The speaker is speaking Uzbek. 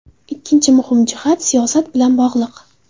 Ikkinchi muhim jihat siyosat bilan bog‘liq.